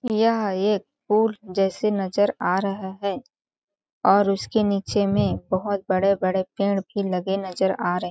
यह एक पूल जैसे नज़र आ रहा है और उसके नीचे में बहुत बड़े-बड़े पेड़ भी लगे नज़र आ रहे --